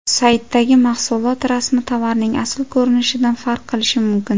Saytdagi mahsulot rasmi tovarning asl ko‘rinishidan farq qilishi mumkin.